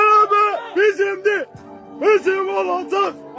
Qələbə bizimdir, bizim olacaq!